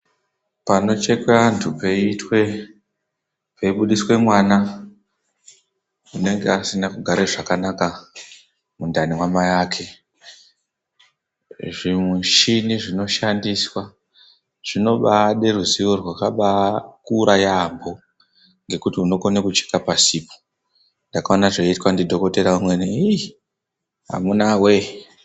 Panochekwe antu peibudiswe mwana, unenge asina kugare zvakanaka mundani mwamai ake, zvimushini zvinoshandiswa zvinobaade ruzivo rwakabaakura yaamho, ngekuti unokone kucheka pasipo. Ndakaona zveiitwa ndiDhokothera umweni iish amunaa wee!